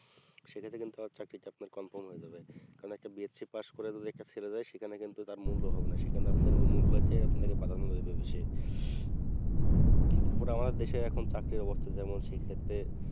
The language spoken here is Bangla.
সে ক্ষেত্রে কিন্তু আর চাকরিটা আপনার confirm হয়ে যাবে কারণ একটা BHC পাশ করে যদি একটা ছেলেমেয়ে সেখানে কিন্তু তার মূল্য হবে না সেখানে আপনার মূল্য আছে আপনার প্রাধান্য বেশি দেবে সে তারপর আবার দেশের এখন চাকরির অবস্থা যেমন সেই ক্ষেত্রে